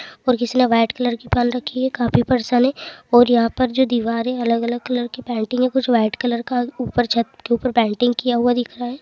और किसी ने व्हाइट कलर की पहन रखी है| काफी परशन है| और यहाँ पर जो दीवार अलग-अलग कलर की पेंटिंग है कुछ व्हाइट कलर का ऊपर छत के ऊपर पेंटिंग किया हुआ दिख रहा है।